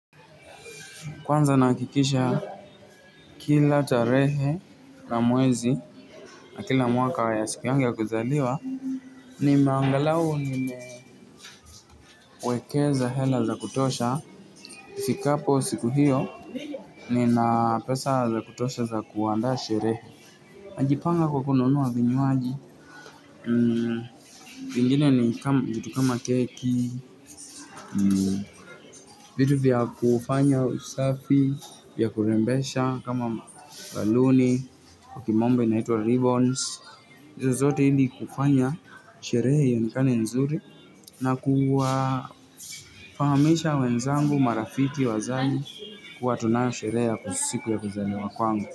Kwanza nahakikisha kila tarehe na mwezi na kila mwaka ya siku yangi ya kuzaliwa. Nimeangalau nimewekeza hela za kutosha ifikapo siku hiyo nina pesa za kutosha za kuandaa sherehe. Najipanga kwa kununua vinywaji, vingine ni kitu kama keki vitu vya kufanya usafi vya kurembesha kama baluni kwa kimombo inaitwa ribbons hizo zote ili kufanya sherehe ionekane nzuri na kuwafahamisha wenzangu, marafiki, wazazi kuwa tunayo sherehe ya siku ya kuzaliwa kwangu.